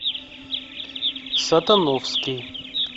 сатановский